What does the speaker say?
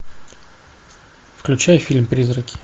включай фильм призраки